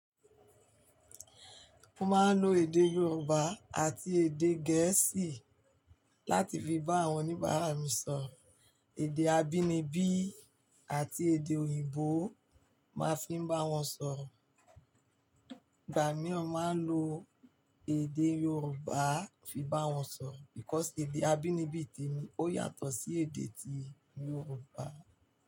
Mo máa ń lo èdè Yorùbá àti èdè gẹ̀ẹ́sì láti fi bá àwon oníbàárà mi sọ̀. Èdè abínibí àti èdè òyìnbó máa fi ń bá won sọ̀ro. Ìgbà mìíràn, màá lo èdè Yorùbá fi bá won sọ̀ because èdè abínibí te mi. O yàtò sí èdè ti Yorùbá.